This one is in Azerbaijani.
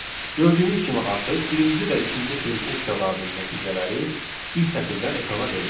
Gördüyümüz kimi artıq birinci və ikinci print funksiyalarının nəticələri bir sətirdən ekrana verildi.